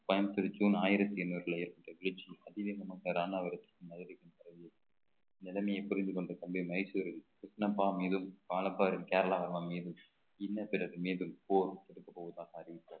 Coimbatore June ஆயிரத்தி எண்ணூறுல ஏற்பட்ட bleaching அதிவேகமாக ராமாவரத்துக்கும் மதுரைக்கும் பரவி இருக்கு நிலைமையை புரிந்து கொண்ட தம்பி மைசூரில் கிருஷ்ணப்பா மீதும் வாழப்பாடி கேரளா மீதும் இன்ன பிறகு மீண்டும் போர் தொடுக்கப் போவதாக அறிவித்த